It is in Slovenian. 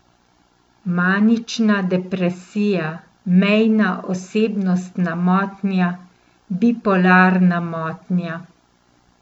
Manična depresija, mejna osebnostna motnja, bipolarna motnja.